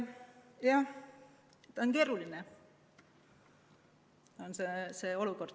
Jah, keeruline on see olukord.